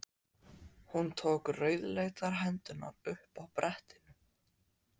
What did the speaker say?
Hún tók rauðleitar hendurnar upp af brettinu.